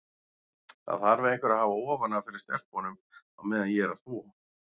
Það þarf einhver að hafa ofan af fyrir stelpunum á meðan ég er að þvo.